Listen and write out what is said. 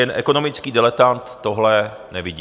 Jen ekonomický diletant tohle nevidí.